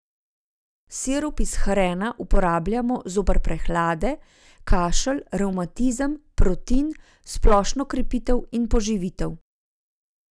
Sirup iz hrena uporabljamo zoper prehlade, kašelj, revmatizem, protin, splošno krepitev in poživitev.